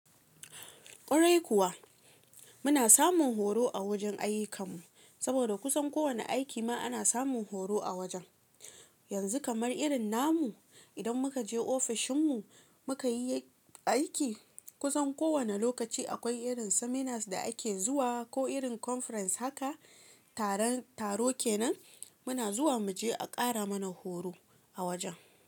Kwarai kuwa, muna samun horo a wajen ayyukanmu saboda kusan kowane aiki ma ana samun horo a wajen. Yanzu kamar irin namu idan muka je ofishinmu muka yi aiki kusan kowane lokaci akwai irin seminars da ake zuwa ko irin conference haka taron taro kenan muna zuwa mu je a ƙara mana horo a wajen.